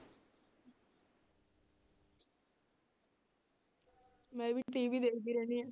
ਮੈਂ ਵੀ TV ਦੇਖਦੀ ਰਹਿੰਦੀ ਹਾਂ।